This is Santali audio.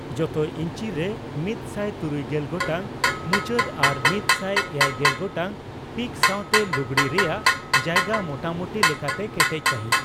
ᱡᱚᱛᱚ ᱤᱧᱪᱤ ᱨᱮ ᱢᱤᱛᱥᱟᱭ ᱛᱩᱨᱩᱭᱜᱮᱞ ᱜᱚᱴᱟᱝ ᱢᱩᱪᱟᱹᱫ ᱟᱨ ᱢᱤᱛ ᱥᱟᱭ ᱮᱭᱟᱭᱜᱮᱞ ᱜᱚᱴᱟᱝ ᱯᱤᱠ ᱥᱟᱣᱛᱮ ᱞᱩᱜᱲᱤ ᱨᱮᱭᱟᱜ ᱡᱟᱭᱜᱟ ᱢᱳᱴᱟᱢᱩᱴᱤ ᱞᱮᱠᱟᱛᱮ ᱠᱮᱴᱮᱡ ᱥᱟᱸᱦᱤᱡ ᱾